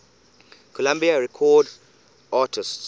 columbia records artists